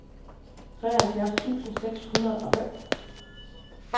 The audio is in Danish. treoghalvfjerds tusind seks hundrede og fem